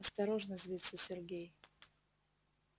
осторожно злится сергей